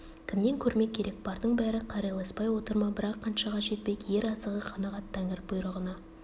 кімнен көрмек керек бардың бәрі қарайласпай отыр ма бірақ қаншаға жетпек ер азығы қанағат тәңір бұйрығына